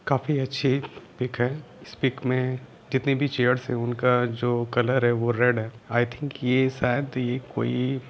काफी अच्छी पिक है इस पिक मे कतनी भी चेयर्स हैउनका जो कलर हैवो रेड है आइ थिंक ये शायद ये कोई--